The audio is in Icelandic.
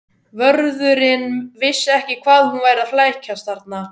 Vörðurinn vissi ekki hvað hún væri að flækjast þarna.